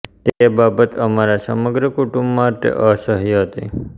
તે બાબત અમારા સમગ્ર કુટુંબ માટે અસહ્ય હતી